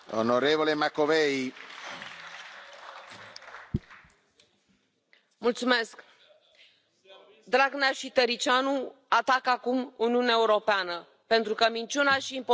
Dragnea și Tăriceanu atacă acum Uniunea Europeană pentru că minciuna și impostura le au fost descoperite, dar românii vor în Europa, în democrație și în libertate.